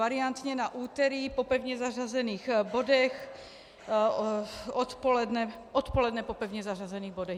Variantně na úterý po pevně zařazených bodech - odpoledne po pevně zařazených bodech.